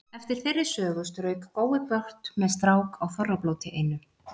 Eftir þeirri sögu strauk Gói brott með strák á Þorrablóti einu.